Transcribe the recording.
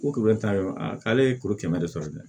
Ko kuru ta yɔrɔ ye k'ale ye kuru kɛmɛ de sɔrɔ dɛ